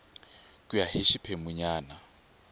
ku ya hi xiphemu nyana